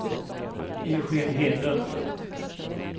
Eugen Hedlund